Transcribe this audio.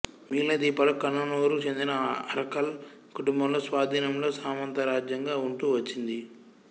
మిగిలిన ద్వీపాలు కన్ననూరుకు చెందిన అరక్కల్ కుంటుంబంలో స్వాధీనంలో సామంతరాజ్యంగా ఉంటూ వచ్చింది